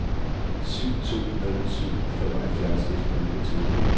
syv to nul syv femoghalvfjerds et hundrede og niogtyve